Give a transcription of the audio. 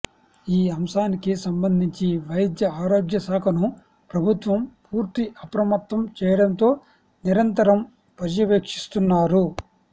ఈ అంశానికి సంబంధించి వైద్య ఆరోగ్య శాఖను ప్రభుత్వం పూర్తి అప్రమత్తం చేయడంతో నిరంతరం పర్యవేక్షిస్తున్నారు